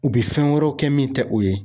U bi fɛn wɛrɛw kɛ min te o ye